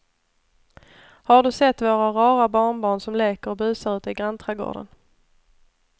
Har du sett våra rara barnbarn som leker och busar ute i grannträdgården!